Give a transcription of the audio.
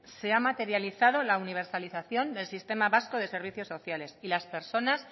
se ha materializado la universalización del sistema vasco de servicios sociales y las personas